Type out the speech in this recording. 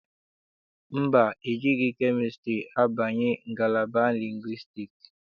Mba, ejighị kemịstrị abanye ngalaba lingwistiks.